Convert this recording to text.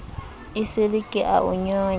esele ke a o nyonya